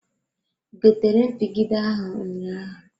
I gotere mpigide ahụ ụnyaahụ?